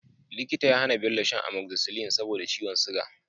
Likita ya hAna Bello sha Amoxicillin saboda ciwon siga